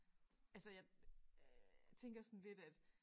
Altså jeg tænker sådan lidt at